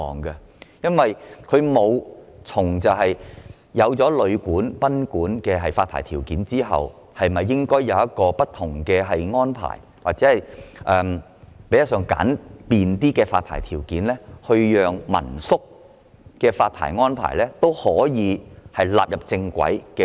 在制訂旅館及賓館的發牌條件後，政府沒有考慮應否就民宿的發牌問題訂定不同或相對簡便的安排或條件，從而將民宿的發牌問題正規化。